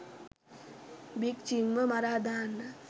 big ජිම්ව මරා දාන්න